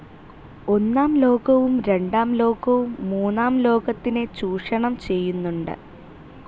ഒന്നാം ലോകവും രണ്ടാം ലോകവും മൂന്നാം ലോകത്തിനെ ചൂഷണം ചെയ്യുന്നുണ്ട്.